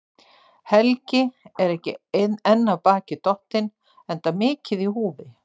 Helgi er ekki enn af baki dottinn, enda mikið í húfi.